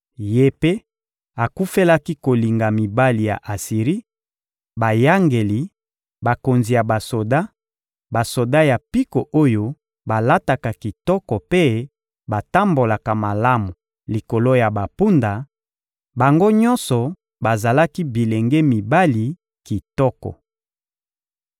Ye mpe akufelaki kolinga mibali ya Asiri: bayangeli, bakonzi ya basoda, basoda ya mpiko oyo balataka kitoko mpe batambolaka malamu likolo ya bampunda; bango nyonso bazalaki bilenge mibali kitoko.